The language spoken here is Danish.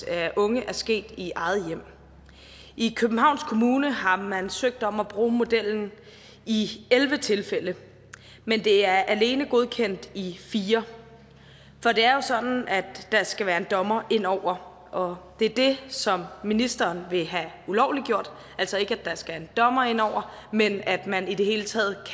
af unge er sket i eget hjem i københavns kommune har man søgt om at bruge modellen i elleve tilfælde men det er alene godkendt i fire for det er jo sådan at der skal være en dommer ind over og det er det som ministeren vil have ulovliggjort altså ikke at der skal en dommer indover men at man i det hele taget